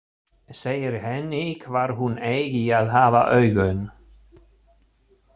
Segir henni hvar hún eigi að hafa augun.